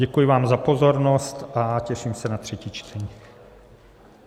Děkuji vám za pozornost a těším se na třetí čtení.